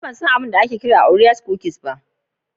Ni ban san abin da ake kira orea cookies ba.